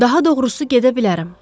Daha doğrusu gedə bilərəm.